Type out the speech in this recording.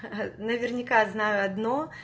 ха-ха наверняка знаю